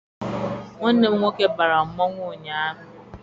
Nwanne m nwoke bara mmanwụ ụnyaahụ.